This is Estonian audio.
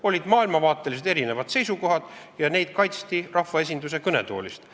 Olid erinevad maailmavaatelised seisukohad ja neid kaitsti rahvaesinduse kõnetoolist.